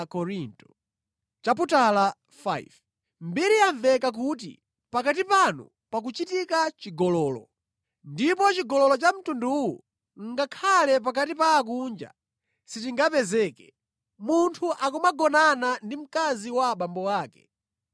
Mbiri yamveka kuti pakati panu pakuchitika chigololo. Ndipo chigololo cha mtunduwu ngakhale pakati pa akunja sichingapezeke; munthu akumagonana ndi mkazi wa abambo ake.